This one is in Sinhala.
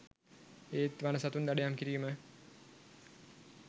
ඒත් වන සතුන් දඩයම් කිරීම